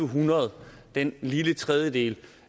hundrede den lille tredjedel